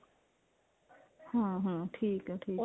hm hm ਠੀਕ ਹੈ ਠੀਕ ਹੈ